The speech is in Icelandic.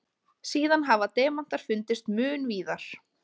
Síðan hafa demantar fundist mun víðar.